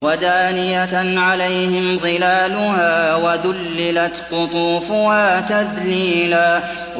وَدَانِيَةً عَلَيْهِمْ ظِلَالُهَا وَذُلِّلَتْ قُطُوفُهَا تَذْلِيلًا